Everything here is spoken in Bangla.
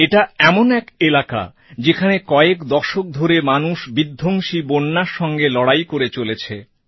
এটা এমন এক এলাকা যেখানে কয়েক দশক ধরে মানুষ বিধ্বংসী বন্যার সঙ্গে লড়াই করে চলেছে